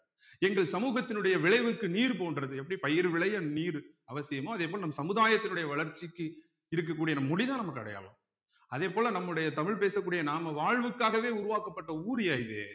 எங்கள் சமூகத்தினுடைய விளைவுக்கு நீர் போன்றது எப்படி பயிர் விளைய நீரு அவசியமோ அதே போல் நம் சமுதாயத்தினுடைய வளர்ச்சிக்கு இருக்கக்கூடிய அந்த முடிதான் நமக்கு அடையாளம் அதே போல நம்முடைய தமிழ் பேசக்கூடிய நாம வாழ்வுக்காகவே உருவாக்கப்பட்ட ஊர்யா இது